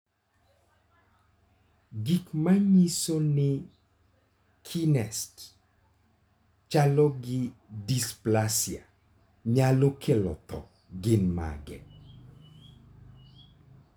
Gik manyiso ni Kniest chalo gi dysplasia nyalo kelo tho gin mage?